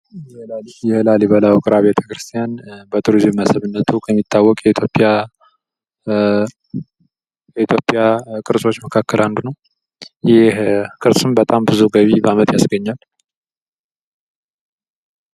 የላሊበላ ውቅር አብያተክርስቲያን በቱሪዝም መስህብነቱ የሚታወቅ የኢትዮጵያ ቅርሶች መካከል አንዱ ነው። ይህ ቅርስም በጣም ብዙ ገቢ በዓመት ያስገኛል።